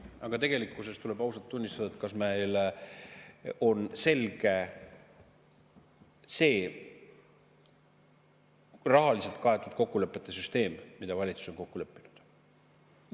Aga tegelikkuses tuleb ausalt, et kas meile on ikka selge see rahaliselt kaetud kokkulepete süsteem, milles valitsus on kokku leppinud.